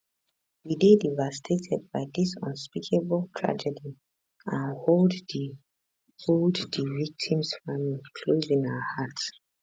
we dey devastated by dis unspeakable tragedy and hold di hold di victims families close in our hearts